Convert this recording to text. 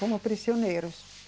Como prisioneiro.